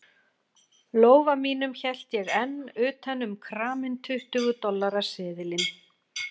lófa mínum hélt ég enn utan um kraminn tuttugu dollara seðilinn.